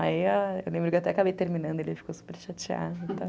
Aí, ah, eu lembro que eu até acabei terminando, ele ficou super chateado.